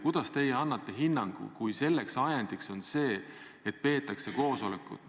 Ja kuidas teie annate hinnangu, kui ajendiks oli see, et peeti koosolekut?